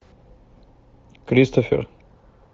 кристофер